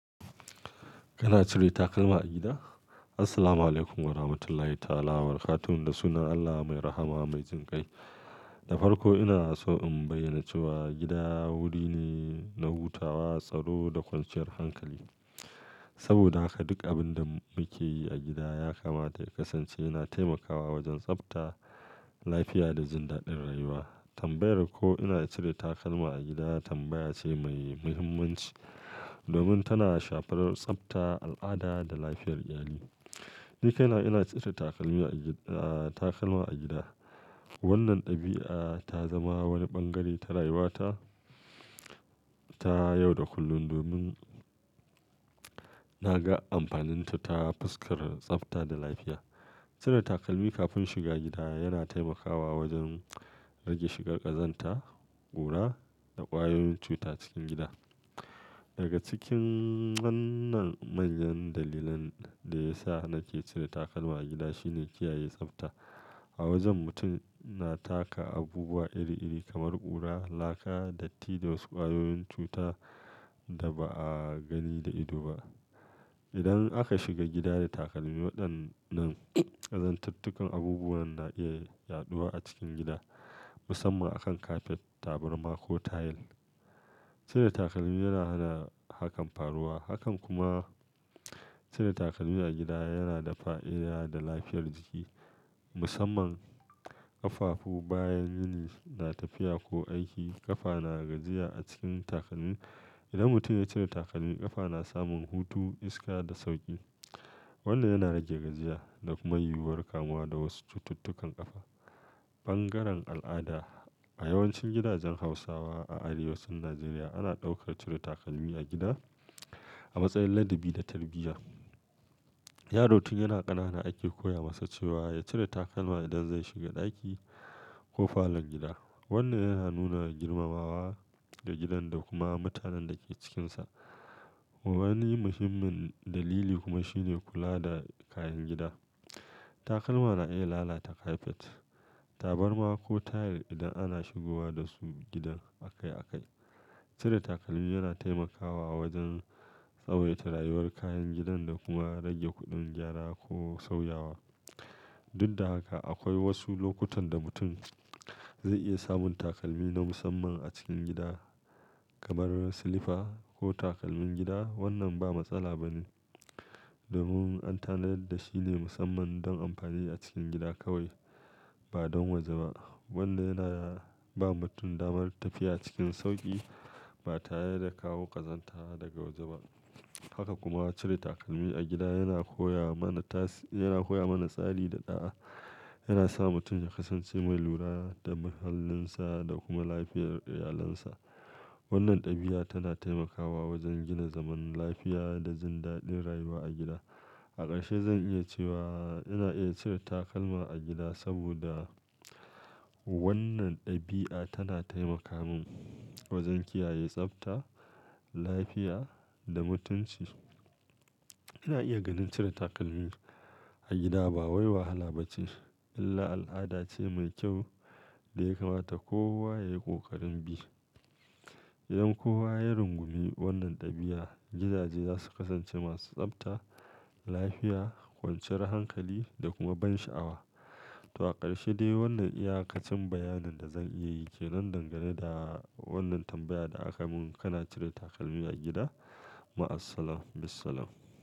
Kana cire takalma a gida? Assalamualaikum warahmatullahi ta'ala wabarakatuh. Da sunan Allah mai rahama mai jin kai. Da farko ina so in bayyana cewa gida wuri ne na hutawa, tsaro da kwanciyar hankali. Saboda haka duk abin da muke yi a gida ya kamata ya kasance yana taimakawa wajen tsabta lafiya da jin daɗin rayuwa. Tambayar ko ina cire takalma a gida tambaya ce mai muhimmanci domin tana shafar tsabta, al'ada da lafiyar iyali. Nikaina ina cire takalmi a gida, takalma a gida. Wannan ɗabi'a ta zama wani ɓangare ta rayuwata ta yau da kullum domin na ga amfaninta ta fuskar tsabta da lafiya. Cire takalmi kafin shiga gida yana taimakawa wajen rage shigar ƙazanta, ƙura da ƙwayoyin cuta cikin gida. Daga cikin wannan manyan dalilan da ya sa nake cire takalma a gida shine kiyaye tsabta. A wajen mutum na taka abubuwa iri-iri kamar ƙura, laka, datti da wasu ƙwayoyin cuta da ba a gani da ido ba. Idan aka shiga gida da takalmi waɗannan ƙazantattukan abubuwan na iya yaɗuwa a cikin gida musamman akan kafet, tabarma ko tayil. Cire takalmi yana hana hakan faruwa. Hakan kuma cire takalmi a gida yana da fa'i'iya ga lafiyar jiki musamman ƙafafu. Bayan muni na tafiya ko aiki ƙafa na gajiya a cikin takalmi. Idan mutum ya cire takalmi ƙafa na samun hutu, iska da sauƙi. Wannan yana rage gajiya da kuma yiwuwar kamuwa da wasu cututtukan ƙafa. Ɓangaren al'ada a yawancin gidajen Hausawa a arewacin Najeriya ana ɗaukar cire takalmi a gida a matsayin ladabi da tarbiyya. Yaro tun yana ƙanana ake koya masa cewa ya cire takalma idan zai shiga ɗaki ko falon gida. Wannan yana nuna girmamawa ga gidan da kuma mutanen da ke cikinsa. Wani muhimmin dalili kuma shine kula da kayan gida. Takalma na iya lalata kafet, tabarma ko tayil idan ana shigowa dasu gidan akai akai. Cire takalmi yana taimakawa wajen tsawaita rayuwar kayan gidan da kuma rage kuɗin gyara ko sauyawa. Duk da haka akwai wasu lokutan da mutum zai iya samun takalmi na musamman a cikin gida kamar silifa ko takalmin gida. Wannan ba matsala ba ne domin an tanadar da shi ne musamman don amfani a cikin gida kawai ba don waje ba. Wannan yana ba mutum damar tafiya cikin sauƙi ba tare da kawo ƙazanta daga waje ba. Haka kuma cire takalmi a gida yana koya mana tasi-- yana koya mana tsari da ɗa'a. Yana sa mutum ya kasance mai lura da muhallinsa da kuma lafiyar iyalinsa. Wannan ɗabi'a tana taimakawa wajen gina zaman lafiya da jin daɗin rayuwa a gida. A ƙarshe zan iya cewa ina iya cire takalma a gida saboda wannan ɗabi'a tana taimaka min wajen kiyaye tsabta, lafiya da mutunci. Ina iya ganin cire takalmi a gida ba wai wahala ba ce illa al'ada ce mai kyau da ya kamata kowa ya yi ƙoƙarin bi. Idan kowa ya rungumi wannan ɗabi'a gidaje za su kasance masu tsabta, lafiya, kwanciyar hankali da kuma ban sha'awa. To a ƙarshe dai wannan iyaƙacin bayanin da zan iya yi ke nan dangane da wannan tambayar da aka mun. Kana cire takalmi a gida? Ma assalam, bissalam.